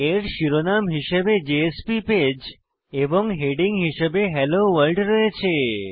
এর শিরোনাম হিসাবে জেএসপি পেজ এবং হেডিং হিসাবে হেলো ভোর্ল্ড রয়েছে